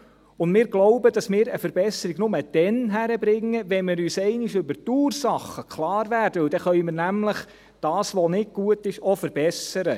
Und wir glauben, dass wir eine Verbesserung nur dann schaffen, wenn wir uns einmal über die Ursachen klar werden, denn dann können wir nämlich das, was nicht gut ist, auch verbessern.